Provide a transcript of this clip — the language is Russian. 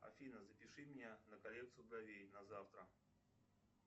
афина запиши меня на коррекцию бровей на завтра